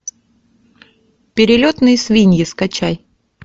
перелетные свиньи скачай